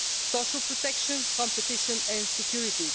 social protection, competition and security.